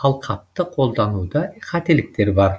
алқапты қолдануда қателіктер бар